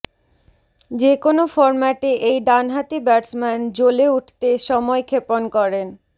যে কোন ফরম্যাটে এই ডানহাতি ব্যাটসম্যান জ্বলে উঠতে সময় ক্ষেপন করেন